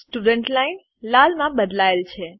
student line લાલમાં બદલાય છે